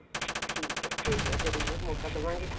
ਠੀਕ ਹੈ ਕੋਈ ਨਾਂ ਜਰੂਰ ਮੋਕਾ ਦਵਾਂਗੇ